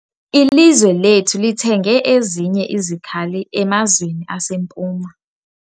Ilizwe lethu lithenge ezinye izikhali emazweni aseMpuma.